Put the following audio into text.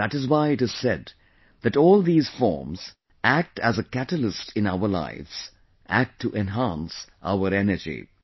that is why it is said that all these forms act as a catalyst in our lives, act to enhance our energy